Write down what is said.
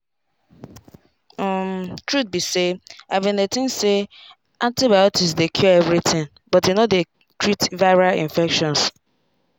umtruth be say i bin dey think say antibiotics dey cure everything but e no dey treat viral infections.